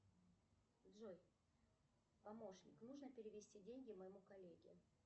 джой помощник нужно перевести деньги моему коллеге